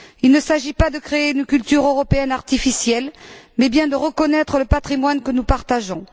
Il ne s'agit pas de créer une culture européenne artificielle mais bien de reconnaître le patrimoine que nous partageons.